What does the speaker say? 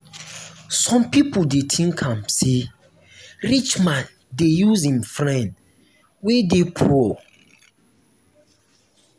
some pipo dey tink am sey rich man dey use im friend wey dey poor.